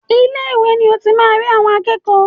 Ilé ìwé ni o ti máa rí àwọn akẹ́kọ̀ọ́.